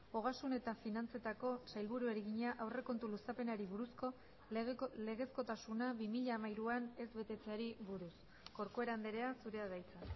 ogasun eta finantzetako sailburuari egina aurrekontu luzapenari buruzko legezkotasuna bi mila hamairuan ez betetzeari buruz corcuera andrea zurea da hitza